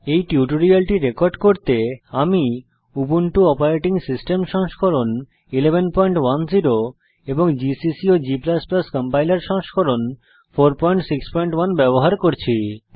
এই টিউটোরিয়ালটি রেকর্ড করতে আমি উবুন্টু অপারেটিং সিস্টেম সংস্করণ 1110 এবং জিসিসি এবং g কম্পাইলার সংস্করণ 461 ব্যবহার করছি